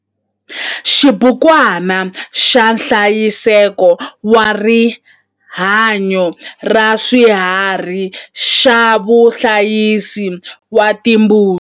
XIBUKWANA XA NHLAYISEKO WA RIHANYO RA SWIHARHI XA VAHLAYISI VA TIMBUTI